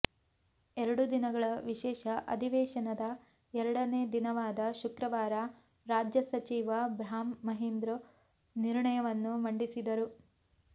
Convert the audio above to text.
ಎರಡು ದಿನಗಳ ವಿಶೇಷ ಅಧಿವೇಶನದ ಎರಡನೇ ದಿನವಾದ ಶುಕ್ರವಾರ ರಾಜ್ಯ ಸಚಿವ ಬ್ರಾಹ್ಮ್ ಮಹಿಂದ್ರ ನಿರ್ಣಯವನ್ನು ಮಂಡಿಸಿದರು